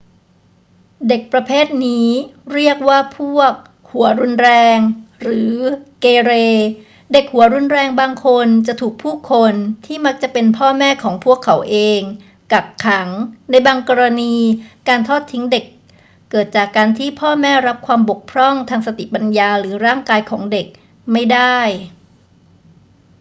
เด็กประเภทนี้เรียกว่าพวก หัวรุนแรง หรือ เกเร เด็กหัวรุนแรงบางคนจะถูกผู้คน ที่มักจะเป็นพ่อแม่ของพวกเขาเอง กักขัง ในบางกรณีการทอดทิ้งเด็กเกิดจากการที่พ่อแม่รับความบกพร่องทางสติปัญญาหรือร่างกายของเด็กไม่ได้